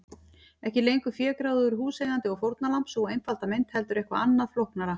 Ekki lengur fégráðugur húseigandi og fórnarlamb, sú einfalda mynd, heldur eitthvað annað, flóknara.